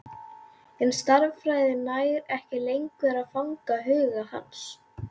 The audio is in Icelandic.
En stærðfræðin nær ekki lengur að fanga huga hans.